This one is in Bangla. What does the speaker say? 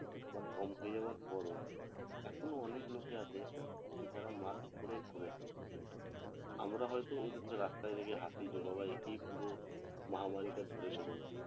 বা কম হয়ে যাওয়ার পর ও এখনো অনেক লোকে আছে যারা mask পরে ঘুরে আমরা হয়তো ওদের কে রাস্তায় দেখে হাসি যে বাবা একেই পুরো মহামারী টা ধরেছে মনেহয়